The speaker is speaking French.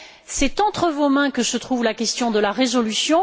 C'est entre vos mains que se trouve la question de la résolution.